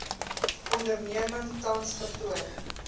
onderneming tans vertoon